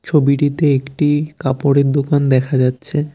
ছবিটিতে একটি কাপড়ের দোকান দেখা যাচ্ছে।